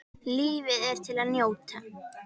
Lífið er til að njóta.